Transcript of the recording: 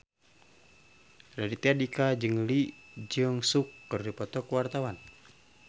Raditya Dika jeung Lee Jeong Suk keur dipoto ku wartawan